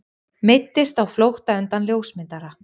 Meiddist á flótta undan ljósmyndara